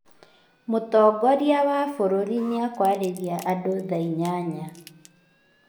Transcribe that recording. Mũtongoria wa bũrũri nĩĩkũarĩria andũ thaa inyanya